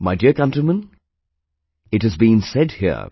My dear countrymen, we it has been said here